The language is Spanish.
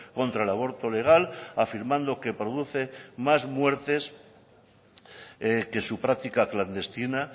contra el aborto legal afirmando que produce más muertes que su práctica clandestina